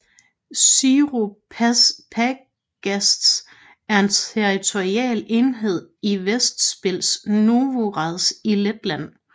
Ziru pagasts er en territorial enhed i Ventspils novads i Letland